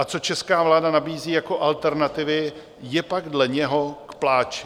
A co česká vláda nabízí jako alternativy, je pak dle něho k pláči.